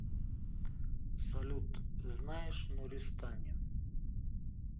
салют знаешь нуристани